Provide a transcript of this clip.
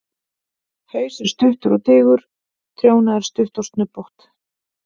Haus er stuttur og digur, trjóna er stutt og snubbótt.